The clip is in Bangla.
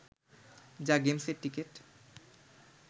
যা গেমসের টিকিট